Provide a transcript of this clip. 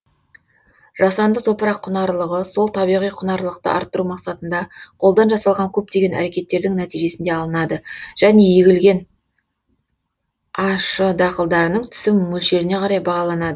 жасанды топырақ құнарлығы сол табиғи құнарлықты арттыру мақсатында қолдан жасалған көптеген әрекеттердің нәтижесінде алынады және егілген а ш дақылдарының түсім мөлшеріне қарай бағаланады